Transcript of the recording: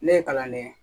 Ne ye kalan kɛ